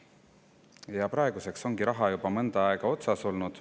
Ja praeguseks ongi raha juba mõnda aega otsas olnud.